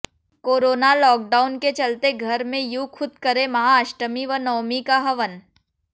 corona lockdown के चलते घर में यूं खुद करें महा अष्टमी व नवमी का हवन